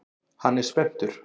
Hann er spenntur.